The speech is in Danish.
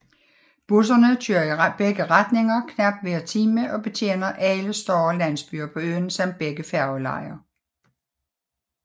Busserne kører i begge retninger knap hver time og betjener alle større landsbyer på øen samt begge færgelejer